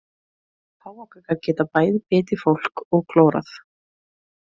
Páfagaukar geta bæði bitið fólk og klórað.